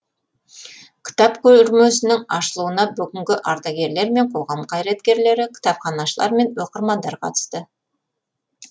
кітап көрмесінің ашылуына бүгінгі ардагерлер мен қоғам қайраткерлері кітапханашылар мен оқырмандар қатысты